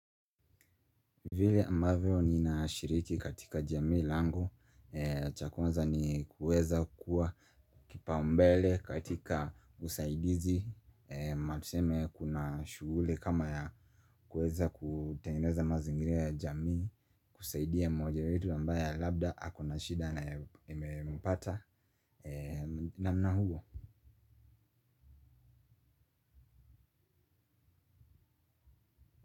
Vile ambavyo ninashiriki katika jamii langu cha kwanza ni kuweza kuwa kipaumbele katika usaidizi kama tuseme kuna shughuli kama ya kuweza kutengeneza mazingira ya jamii kusaidia mmoja wetu ambaye labda ako na shida na imempata namna hiyo.